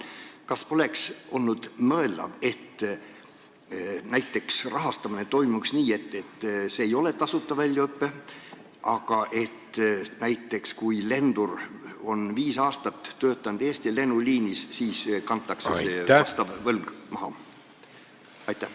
Kas poleks mõeldav, et rahastamine toimuks nii, et see ei oleks tasuta väljaõpe: alles siis, kui lendur on näiteks viis aastat Eesti lennuliinil töötanud, kantakse see võlg maha?